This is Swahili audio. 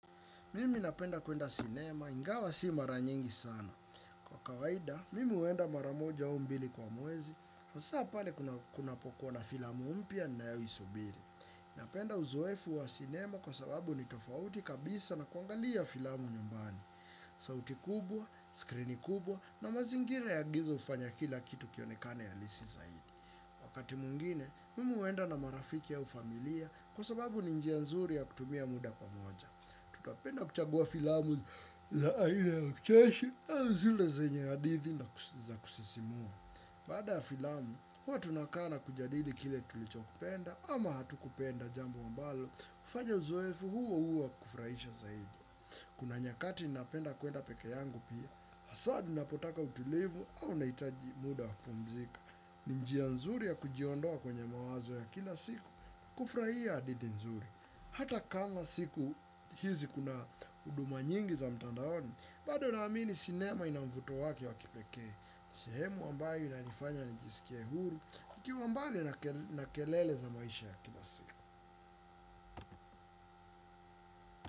Mimi napenda kuenda sinema, ingawa si mara nyingi sana. Kwa kawaida, mimi uenda mara moja au mbili kwa mwezi, hasa pale kunapokwa na filamu mpya ninayosubiri. Napenda uzoefu wa sinema kwa sababu ni tofauti kabisa na kuangalia filamu nyumbani. Sauti kubwa, skrini kubwa na mazingira ya giza hufanya kila kitu kionekane ya rahisi zaidi. Wakati mungine, mimi uenda na marafiki ya au familia kwa sababu ni njia nzuri ya kutumia muda kwa moja. Tutapenda kuchagua filamu za aina ya ucheshi au zile zenye hadithi na kusisimua. Baada ya filamu huwa tunakaa na kujadili kile tulichokipenda ama hatukupenda jambo ambalo hufanya uzoefu huo uwe wa kufurahisha zaidi. Kuna nyakati napenda kuenda peke yangu pia, hasa ninapotaka utulivu au unaitaji muda wa kupumzika. Ni njia nzuri ya kujiondoa kwenye mawazo ya kila siku kufurahia hadithi nzuri. Hata kama siku hizi kuna huduma nyingi za mtandaoni bado naamini sinema inamvuto wake wa kipeke. Ni sehemu ambayo inanifanya nijisikie huru. Nikiwa mbali na kelele za maisha ya kila siku.